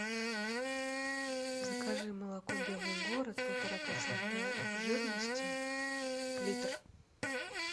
закажи молоко белый город полтора процента жирности литр